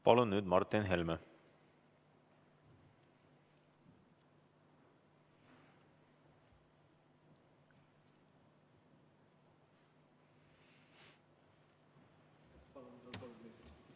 Palun nüüd Martin Helme!